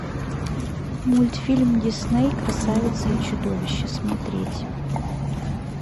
мультфильм дисней красавица и чудовище смотреть